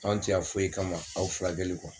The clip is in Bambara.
An tɛ yan foyi kama aw furakɛli kɔ